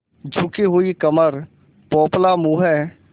झुकी हुई कमर पोपला मुँह